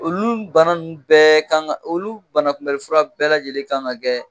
Olu bana ninnu bɛɛ kan ka kɛ olu banakunbɛli fura bɛɛ lajɛlen kan ka kɛ